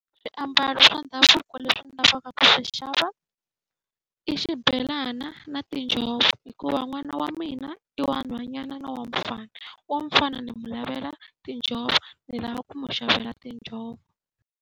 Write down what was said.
Swiambalo swa ndhavuko leswi ndzi lavaka ku swi xava, i xibelana na tinjhovo. Hikuva n'wana wa mina i wa nhwanyana na wa mufana. Wa mufana ni n'wi lavela tinjhovo ni lava ku n'wi xavela tinjhovo.